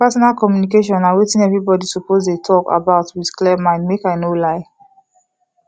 partner communication na wetin everybody suppose dey talk about with clear mind make i no lie